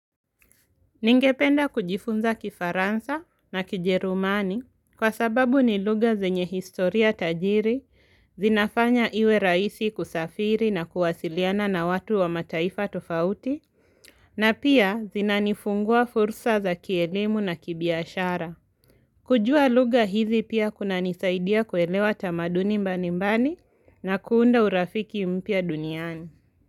Ningependa kujifunza kifaransa na kijerumani kwa sababu ni lugha zenye historia tajiri, zinafanya iwe raisi kusafiri na kuwasiliana na watu wa mataifa tofauti, na pia zinanifungua fursa za kielimu na kibiashara. Kujua lugha hizi pia kunanisaidia kuelewa tamaduni mbanimbani na kuunda urafiki mpya duniani.